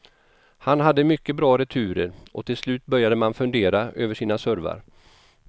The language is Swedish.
Han hade mycket bra returer och till slut börjar man fundera över sina servar.